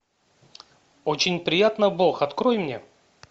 очень приятно бог открой мне